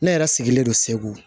Ne yɛrɛ sigilen don segu